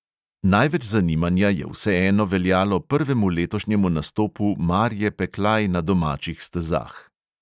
Največ zanimanja je vseeno veljalo prvemu letošnjemu nastopu marje peklaj na domačih stezah.